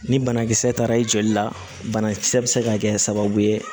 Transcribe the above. Ni banakisɛ taara i joli la banakisɛ bɛ se ka kɛ sababu ye